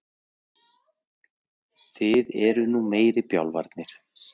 Þið eruð nú meiri bjánarnir.